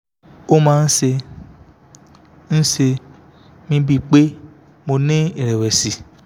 ó máa ń ṣe ń ṣe mí bíi pé mo ń ní ìrẹ̀wẹ̀sì